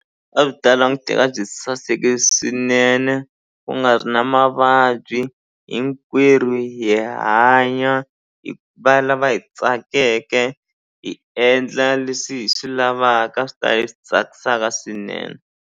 A byi ta languteka byi saseke swinene ku nga ri na mavabyi hinkwerhu hi hanya hi va lava hi tsakeke hi endla leswi hi swi lavaka swi ta hi tsakisaka swinene.